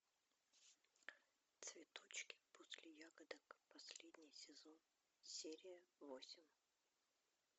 цветочки после ягодок последний сезон серия восемь